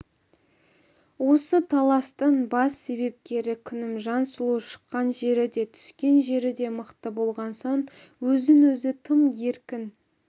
осы таластың бас себепкері күнімжан сұлу шыққан жері де түскен жері де мықты болған соң өзін-өзі тым еркін